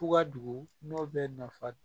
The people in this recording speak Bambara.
Fuga dogo n'o bɛ nafa